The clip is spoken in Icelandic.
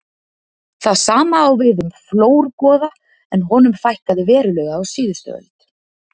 það sama á við um flórgoða en honum fækkaði verulega á síðustu öld